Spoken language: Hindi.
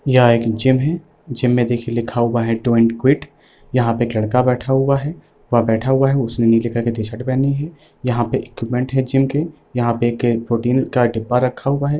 यहाँ एक जिम है जिम में देखिये लिखा हुआ है डॉन्ट क्विट यहाँ पे एक लड़का बैठा हुआ है वह बैठा हुआ है उसने नीले कलर की टी-शर्ट पहनी है यहाँ पे इक्विपमेंट है जिम के यहाँ पे एक प्रोटीन का डिब्बा रखा हुआ है।